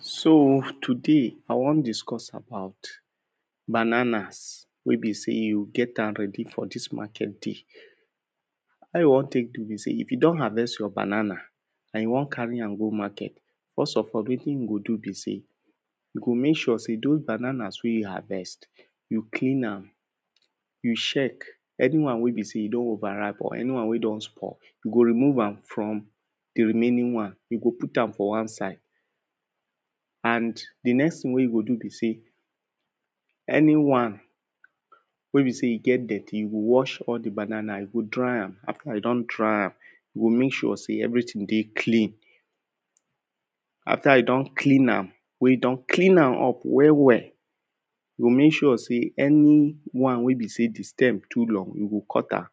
So today I wan discuss about bananas wey be sey you go get am ready for dis market day. How you wan take do be sey, if you don harvest your banana and you wan carry an go market, first of all wetin you go do be sey, you go make sure sey doz banana wen you harvest, you clean am, you check anyone wey don over ripe or anyone wey don spoil, you go remove am from di remaining one, you go put am for one side. And di next thing wen you go do be sey, anyone wey be sey e get dirty, you go wash all di banana you go dry am, and after you don dry am, you go make sure sey everything dey clean, after you don clean am, wen you don clean am up well well, you go make sure sey anyone wey be sey di stem too long, you go cut am,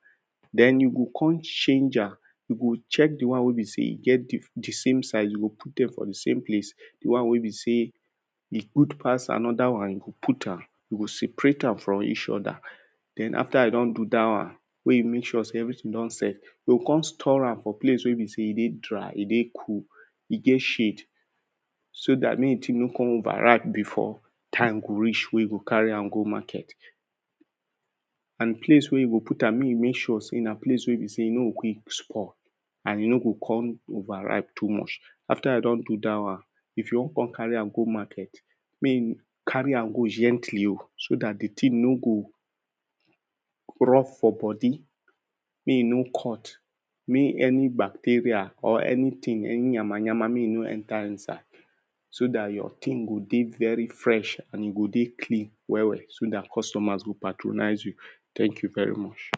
den you go come change am, you go check anyone wey be sey e get di same size, you go come put am for di same place, di one wey be sey, e good pass another one, you go put am, you go separate am from each oda. Den after you don do dat one, wen you make sure sey everything don set, you go come store am for place wey e be sey e dey dry, e dey cool, e get shade so dat make di thing nor come over ripe before di time go reach wen you go carry am go market and di place wey you go put am, make you make sure sey na place wey e be sey e no go quick spoil and e no go come over ripe too much. After you don do dat one, if you wan come carry am go market. Make you carry am go gently oh, so dat di thing no go drop for body, make e no cut, make any bacteria or anything, any nyama nyama make e no enter inside, so dat your thing go dey very fresh and e go dey clean well well so dat costumers, go patronize you, thank you very much.